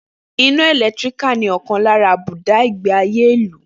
Iná ẹ̀lẹ́tíríkì ni ọ̀kan lára àbùdá ìgbé ayé ìlú